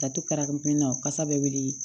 Ka to ka kasa bɛ wuli